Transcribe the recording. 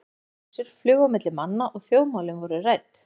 Margar vísur flugu á milli manna og þjóðmálin voru rædd.